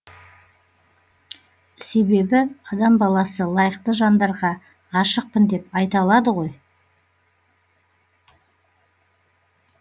себебі адам баласы лайықты жандарға ғашықпын деп айта алады ғой